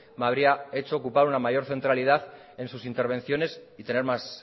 me habría hecho ocupar un mayor centralidad en sus intervenciones y tener más